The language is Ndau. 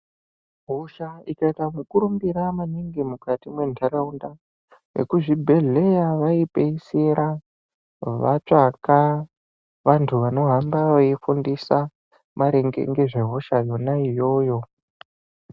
Hosha ikaita mukurumbira maningi mukati mwentaraunda, vekuzvibhehleya vaipeisira vatsvaka vantu vanohamba veifundisa maringe ngezvehosha yona iyoyo.